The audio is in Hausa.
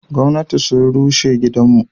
Gomnati sun rushe gidan mu.